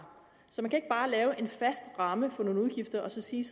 så man kan ikke bare lave en fast ramme for nogle udgifter og sige